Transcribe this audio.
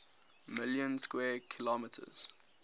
million square kilometers